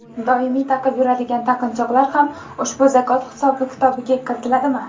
Doimiy taqib yuradigan taqinchoqlar ham ushbu zakot hisob-kitobiga kiritiladimi?.